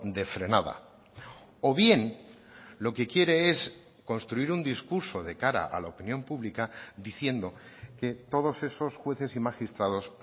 de frenada o bien lo que quiere es construir un discurso de cara a la opinión pública diciendo que todos esos jueces y magistrados